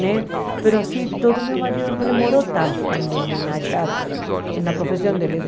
Né mas assim, todo meu marido não demorou tanto também né em achar na profissão dele.